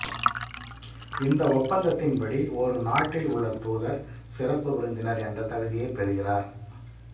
இந்த ஒப்பந்தத்தின்படி ஒரு நாட்டில் உள்ள தூதர் சிறப்பு விருந்தினர் என்ற தகுதியைப் பெறுகிறார்